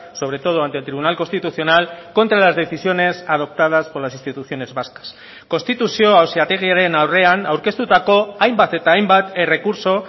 sobre todo ante el tribunal constitucional contra las decisiones adoptadas por las instituciones vascas konstituzio auzitegiaren aurrean aurkeztutako ainbat eta ainbat errekurtso